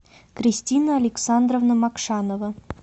кристина александровна макшанова